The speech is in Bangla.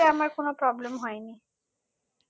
মানালিতে আমার কোনো problem হয়নি